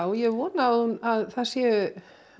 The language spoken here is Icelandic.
ég vona að það séu